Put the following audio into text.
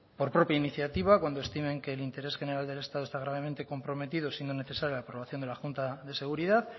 por propia iniciativa cuando estimen que el interés general del estado está gravemente comprometido siendo necesaria la aprobación de la junta de seguridad